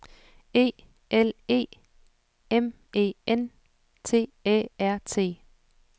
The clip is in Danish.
E L E M E N T Æ R T